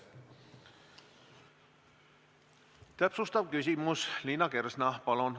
Täpsustav küsimus, Liina Kersna, palun!